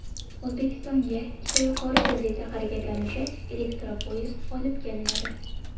O‘zbekistonga ikkita yuqori tezlikda harakatlanuvchi elektropoyezd olib kelinadi.